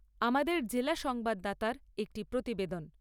আমাদের জেলা সংবাদদাতার একটি প্রতিবেদন